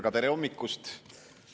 Ja tere hommikust!